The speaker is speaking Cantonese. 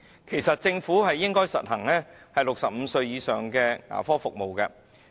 其實政府應該為65歲以上人士提供牙科服務。